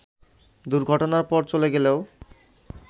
দুর্ঘটনার পর চলে গেলেও